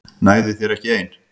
Nægði þér ekki ein?